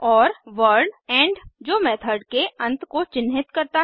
और word end जो method के अंत को चिन्हित करता है